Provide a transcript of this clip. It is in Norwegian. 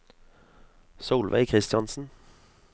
Solveig Christiansen